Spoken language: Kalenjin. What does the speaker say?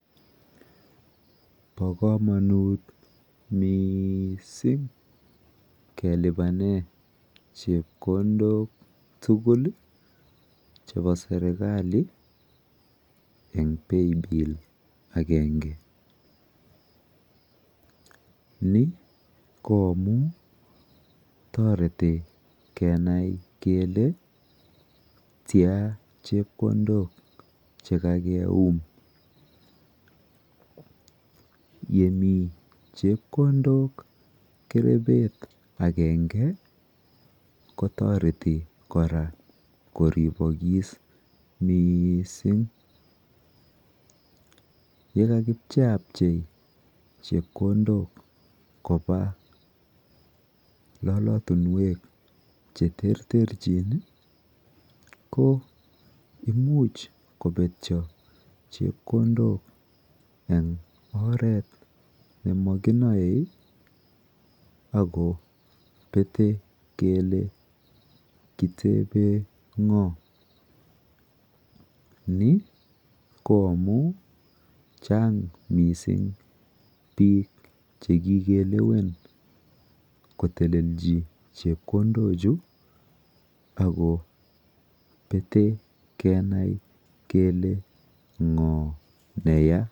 Po komonut miisin kelipane chepkondok tugul chepo serikali eng paybill akenge. Ni ko amu toreti kenai kele tia chepkondok chekakeum. Yemi chepkondok kerepet akenge kotoreti kora koripokis miising. Yekakipcheapchei chepkondok kopa lolotunwek cheterterchin ko imuch kopetyo chepkondok eng oret nemakinoe akopete kele kitepe ng'oo. Ni ko amu chang mising biik chekikelwen kotelelchi chepkondochu ako pete kenai kele ng'oo neya.